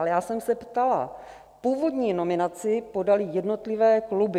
Ale já jsem se ptala: původní nominaci podaly jednotlivé kluby.